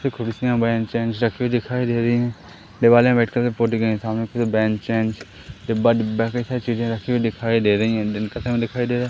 कुर्सियां बेंच वेंच रखी हुई दिखाई दे रही है दीवाले वाइट कलर पोती गयी सामने की तरफ बेंच वेंच डिब्बा-डिब्बा की हर चीज रखी हुई दिखाई दे रही है दिन का समय दिखाई दे --